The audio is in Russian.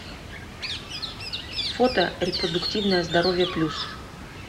фото репродуктивное здоровье плюс